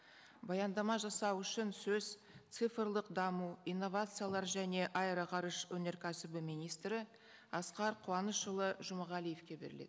баяндама жасау үшін сөз цифрлық даму инновациялар және аэроғарыш өнеркәсібі министрі асқар қаунышұлы жұмағалиевке беріледі